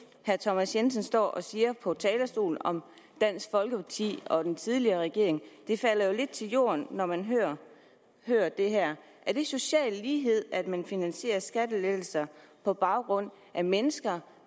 herre thomas jensen står og siger på talerstolen om dansk folkeparti og den tidligere regering det falder lidt til jorden når man hører hører det her er det social lighed at man finansierer skattelettelser på baggrund af mennesker